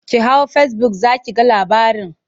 Ki hau fesibuk za ki ga labarin.